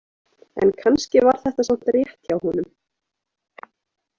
En kannski var þetta samt rétt hjá honum.